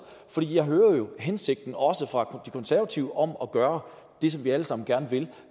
jeg hører jo hensigten også fra de konservative om at gøre det som vi alle sammen gerne vil